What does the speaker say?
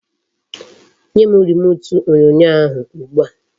Nyem remut onyonyo ahu ugbua